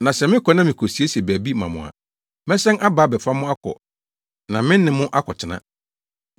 Na sɛ mekɔ na mikosiesie baabi ma mo a, mɛsan aba abɛfa mo akɔ na me ne mo akɔtena.